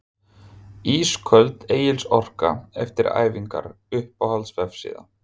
Ísköld Egils Orka eftir æfingar Uppáhalds vefsíða?